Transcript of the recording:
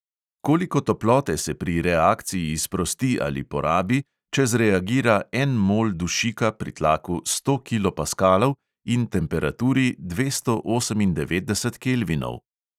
Koliko toplote se pri reakciji sprosti ali porabi, če zreagira en mol dušika pri tlaku sto kilopaskalov in temperaturi dvesto osemindevetdeset kelvinov?